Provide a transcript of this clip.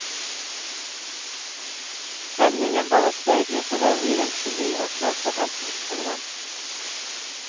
Stemningen bare steg utover i den genierklærte heltens program.